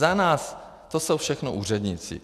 Za nás to jsou všechno úředníci.